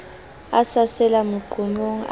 a sa sela meqomong a